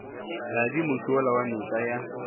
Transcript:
tladi mošola wa noka ya